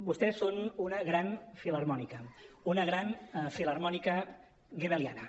vostès són una gran filharmònica una gran filharmònica goebbeliana